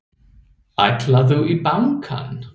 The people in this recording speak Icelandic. Ætlarðu í bankann?